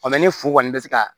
ni furu kɔni bɛ se ka